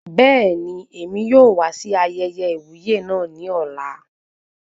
Bẹẹni, èmi yóò wá sí ayẹyẹ iwuye náà ní ọ̀la